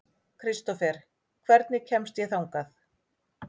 Kristófer, hvernig kemst ég þangað?